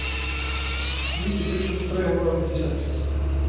nitti tusen tre hundre og nittiseks